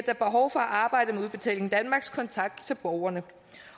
er behov for at arbejde med udbetaling danmarks kontakt til borgerne